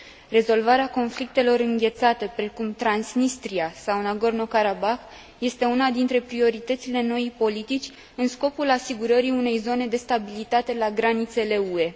Rezolvarea conflictelor înghețate, precum Transnistria sau Nagorno Karabah, este una dintre prioritățile noii politici în scopul asigurării unei zone de stabilitate la granițele UE.